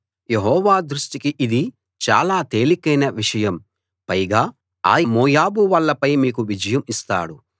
యెహోవా దృష్టికి ఇది చాలా తేలికైన విషయం పైగా ఆయన మోయాబు వాళ్ళపై మీకు విజయం ఇస్తాడు